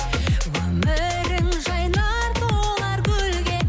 өмірің жайнар толар гүлге